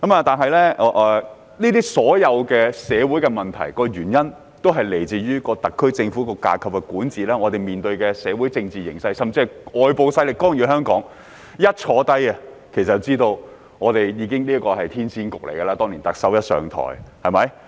不過，所有社會問題均源於特區政府的管治架構、我們面對的社會政治形勢甚至外部勢力的干預，其實特首當年甫上台，便已知道這是個騙局。